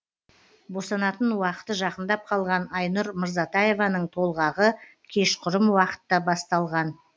босанатын уақыты жақындап қалған айнұр мырзатаеваның толғағы кешқұрым уақытта басталған